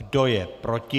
Kdo je proti?